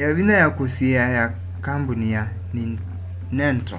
yavinya ya kusyiia ya kambuni ya nintendo